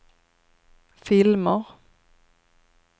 filmer